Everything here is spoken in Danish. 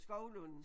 Skovlund